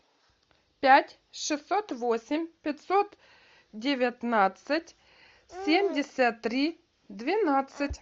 пять шестьсот восемь пятьсот девятнадцать семьдесят три двенадцать